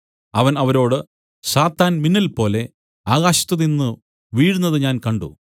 അവൻ അവരോട് സാത്താൻ മിന്നൽപോലെ ആകാശത്തുനിന്ന് വീഴുന്നത് ഞാൻ കണ്ട്